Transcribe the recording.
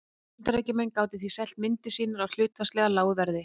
Bandaríkjamenn gátu því selt myndir sínar á hlutfallslega lágu verði.